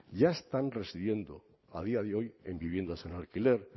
ya están residiendo a día de hoy en viviendas en alquiler